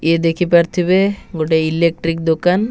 ଇଏ ଦେଖିପାରୁଥିିବେ ଗୋଟେ ଇଲେଟ୍ରିକ ଦୋକାନ।